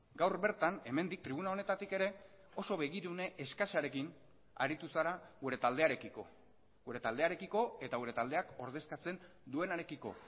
gaur bertan hemendik tribuna honetatik ere oso begirune eskasarekin aritu zara gure taldearekiko gure taldearekiko eta gure taldeak ordezkatzen duenarekiko